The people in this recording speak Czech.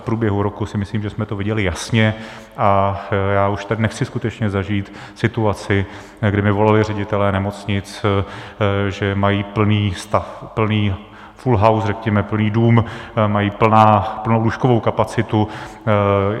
V průběhu roku si myslím, že jsme to viděli jasně, a já už tady nechci skutečně zažít situaci, kdy mi volali ředitelé nemocnic, že mají plný stav, plný full house, řekněme, plný dům, mají plnou lůžkovou kapacitu.